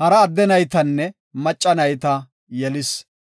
Hara adde naytanne macca nayta yelis.